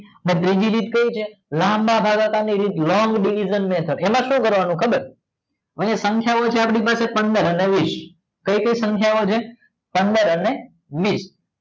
ત્રીજી રીત કઈ છે લાંબા ભાગાકાર ની રીત લોંગ ડિવિજન મેથડ એમ શું કરવાનું ખબર છે આય સંખ્યા છે પંદર અને વીસ કાય કાય સંખ્યા ઑ છે પંદર અને વીસ